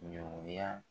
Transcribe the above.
Ɲɔn ya